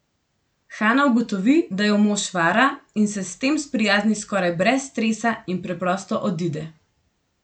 Hana ugotovi, da jo mož vara, in se s tem sprijazni skoraj brez stresa in preprosto odide.